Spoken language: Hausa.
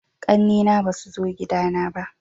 ƙanne na ba su zo gida na ba